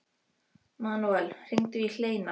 Manuel, hringdu í Hleinar.